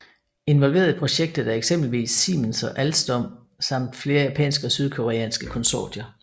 Involverede i projektet er eksempelvis Siemens og Alstom samt flere japanske og sydkoreanske konsortier